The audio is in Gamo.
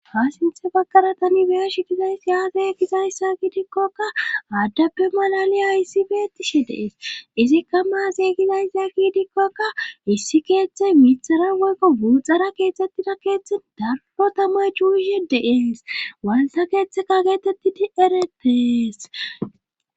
Paasinthe baggara tani beyash gizays yaasee gizayssakkidikkokka aaddappe malaliya issi beettishe dees izikka maase gizayssaki idikkokka issi keeththey mixara woykko buuxara keettettida keeththen dargo tamay cuushe dees waalsa keeththeka geetettidi eretees.